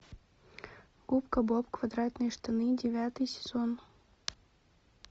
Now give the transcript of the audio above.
губка боб квадратные штаны девятый сезон